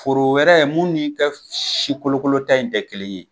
Foro wɛrɛ mun nin ka si kolokolo ta in te kelen ye